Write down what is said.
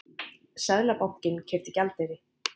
Seðlabankinn keypti gjaldeyri